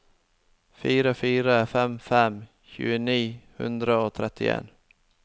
fire fire fem fem tjue ni hundre og trettien